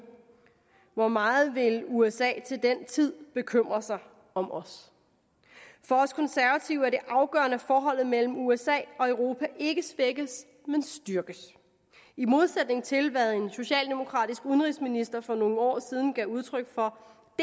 hvor meget vil usa til den tid bekymre sig om os for os konservative er det afgørende at forholdet mellem usa og europa ikke svækkes men styrkes i modsætning til hvad en socialdemokratisk udenrigsminister for nogle år siden gav udtryk for